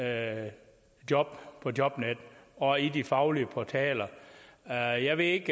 af job på jobnet og i de faglige portaler jeg jeg ved ikke